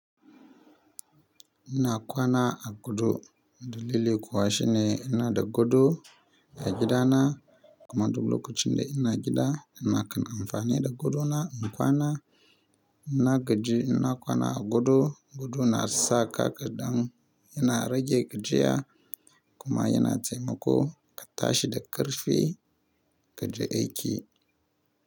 Ina kwana a gado dalili kuwa shine ina da gado, a gida na kuma duk lokacin da ina gida ina kan amfani da gadona na kwana. Na gaji, ina kwana a gado. Gado na sa ka ƙadan, yana rage gajiya kuma yana taimako ka tashi da ƙarfi kaje aiki.